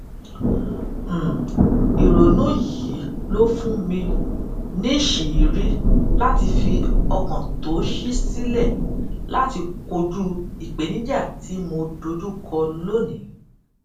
um ìrònú yìí ló fún mi níṣìírí láti fi ọkàn tó ṣí sílẹ láti kojú ìpèníjà tí mo dojú kọ lónìí